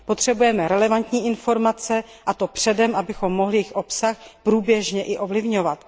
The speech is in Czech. Potřebujeme relevantní informace a to předem, abychom mohli jejich obsah průběžně i ovlivňovat.